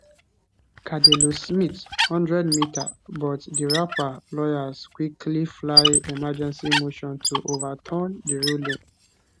cardellosmith 100m but di rapper lawyers quickly file emergency motion to overturn di ruling